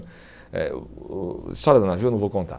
Eh o o história do navio eu não vou contar.